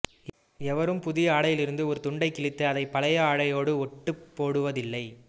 எவரும் புதிய ஆடையிலிருந்து ஒரு துண்டைக் கிழித்து அதைப் பழைய ஆடையோடு ஒட்டுப் போடுவதில்லை